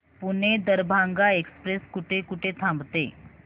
Pune Darbhanga express कुठे कुठे थांबते